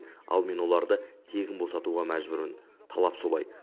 ал мен оларды тегін босатуға мәжбүрмін талап солай